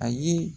A ye